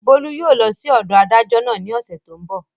Bólú yóò lọ sí ọ̀dọ̀ adájọ́ náà ní ọ̀sẹ̀ tó n bọ̀